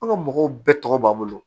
An ka mɔgɔw bɛɛ tɔgɔ b'an bolo